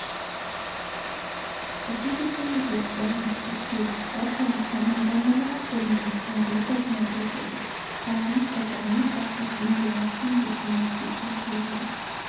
осы жексенбіде яғни қыркүйек халықаралық мамандандырылған көрменің жабылу салтанаты өтеді қаланың экономикасына миллиард теңге инвестиция құйылды